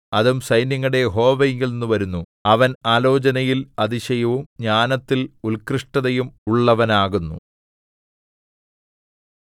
അതും സൈന്യങ്ങളുടെ യഹോവയിങ്കൽനിന്നു വരുന്നു അവൻ ആലോചനയിൽ അതിശയവും ജ്ഞാനത്തിൽ ഉൽകൃഷ്ടതയും ഉള്ളവനാകുന്നു